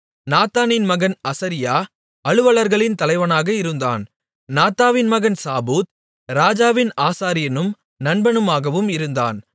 நாத்தானின் மகன் அசரியா அலுவலர்களின் தலைவனாக இருந்தான் நாத்தானின் மகன் சாபூத் ராஜாவின் ஆசாரியனும் நண்பனாகவும் இருந்தான்